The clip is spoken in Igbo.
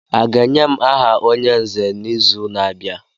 A ga-enye m aha onye nzè n'izu na-abịa?